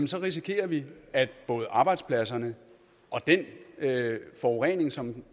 så risikerer vi at både arbejdspladserne og den forurening som